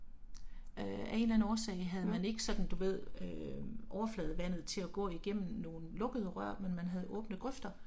Øh af en eller anden årsag havde man ikke sådan du ved øh overfladevandet til at gå igennem nogle lukkede rør men man havde åbne grøfter